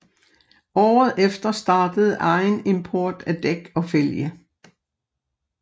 Året efter startede egen import af dæk og fælge